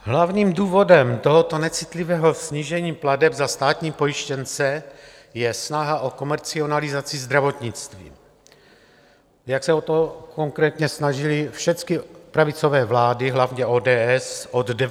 Hlavním důvodem tohoto necitlivého snížení plateb za státní pojištěnce je snaha o komercionalizaci zdravotnictví, jak se o to konkrétně snažily všechny pravicové vlády, hlavně ODS, od 90. let.